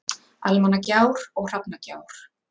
Almannagjár og Hrafnagjár.